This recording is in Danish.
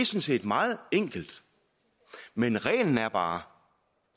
set meget enkelt men reglen er bare